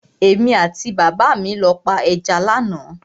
Èmi àti bàbá mi lọ pa ẹja lánàá.